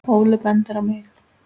Óli bendir á mig